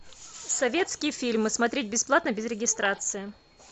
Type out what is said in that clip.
советские фильмы смотреть бесплатно без регистрации